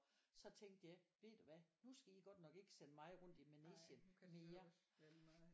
Så tænkte jeg ved du hvad nu skal i godt nok ikke sende mig rundt i manegen mere